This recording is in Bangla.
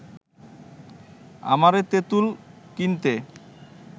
আমারে তেঁতুল কিনতে